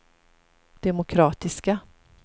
demokratiska